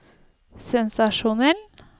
sensasjonell